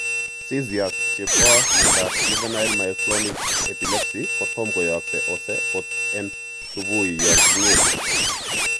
Seizures chepo miondap juvenile myoclonic epilepsy kotam koyagse ose kot en supui yon kakgingete.